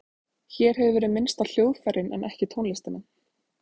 Hér hefur verið minnst á hljóðfærin en ekki tónlistina.